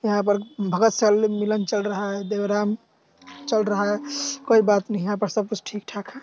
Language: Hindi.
यहां पर सल- मेलन चल रहा है देवराम चल रहा है कोई बात नहीं यहां पर सब कुछ ठीक ठाक है।